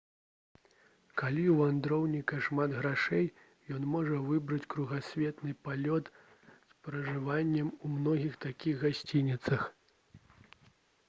калі ў вандроўніка шмат грошай ён можа выбраць кругасветны палёт з пражываннем у многіх такіх гасцініцах